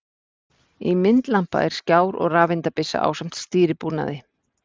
Í myndlampa er skjár og rafeindabyssa ásamt stýribúnaði.